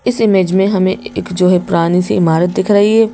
इस इमेज मे हमे एक जो है पुरानी सी इमारत दिख रही है।